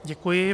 Děkuji.